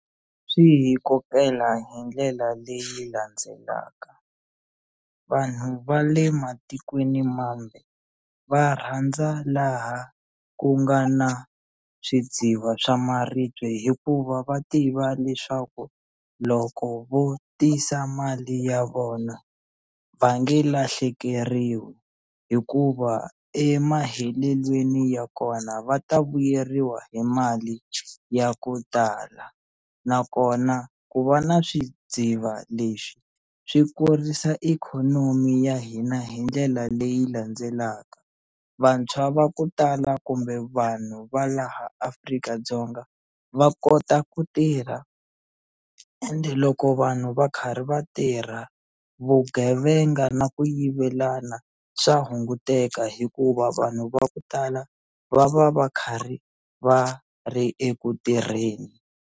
Swi hi kokela hi ndlela leyi landzelaka vanhu va le matikweni mambe va rhandza laha ku nga na swidziva swa maribye hikuva va tiva leswaku loko vo tisa mali ya vona va nge lahlekeriwi hikuva emahetelelweni ya kona va ta vuyeriwa hi mali ya ku tala nakona ku va na swidziva leswi swi kurisa ikhonomi ya hina hi ndlela leyi landzelaka vantshwa va ku tala kumbe vanhu va laha Afrika-Dzonga va kota ku tirha ende loko vanhu va karhi va tirha vugevenga na ku yivelana swa hunguteka hikuva vanhu va ku tala va va va karhi va ri eku tirheni.